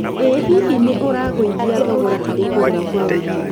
Ĩ hihi nĩ ũragũithia thogora harĩ kũgũra Kwa wingĩ?